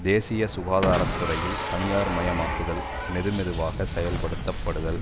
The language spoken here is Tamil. தேசிய சுகாதார துறையில் தனியார் மயமாக்குதல் மெது மெதுவாக செயல் படுத்தப்படுதல்